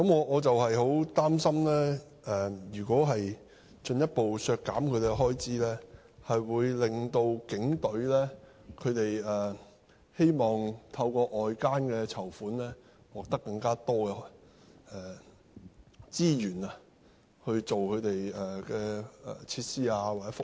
我很擔心如果進一步削減其開支，會令警隊希望透過外間的籌款獲得更多資源，用作購買設施或福利。